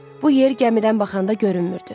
Bu yer gəmidən baxanda görünmürdü.